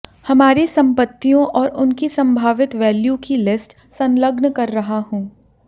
हमारी संपत्तियों और उनकी संभावित वैल्यू की लिस्ट संलग्न कर रहा हूं